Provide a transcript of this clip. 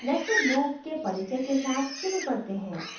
nested loop के परिचय के साथ शुरू करते हैं